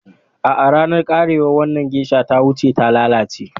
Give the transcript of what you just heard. A'a, ranar karewar wannan geisha ta wuce, ta lalace.